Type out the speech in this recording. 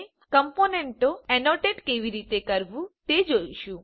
હવે આપણે કમ્પોનન્ટો ઍનોટેટ કેવી રીતે કરવું તે જોઈશું